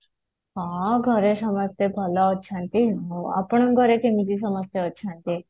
ହଁ ଘରେ ସମସ୍ତେ ଭଲ ଅଛନ୍ତି ଆପଣଙ୍କ ଘରେ କେମିତି ସମସ୍ତେ ଅଛନ୍ତି